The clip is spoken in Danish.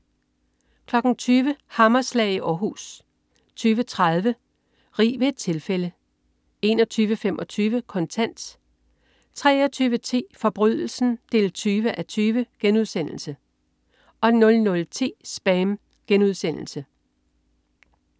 20.00 Hammerslag i Århus 20.30 Rig ved et tilfælde 21.25 Kontant 23.10 Forbrydelsen 20:20* 00.10 SPAM*